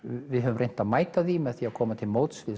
við höfum reynt að mæta því með að koma til móts við